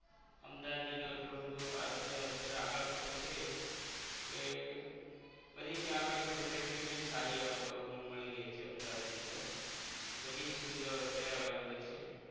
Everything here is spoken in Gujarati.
અમદાવાદ જિલ્લો એટલો બધો અત્યારે આગળ પડતો છે કે બધી ત્યાં આગળ ની facility જે સારી આહ મા મળી રાય છે અમદાવાદની અંદર બધીજ સુવિધાઓ અત્યારે available છે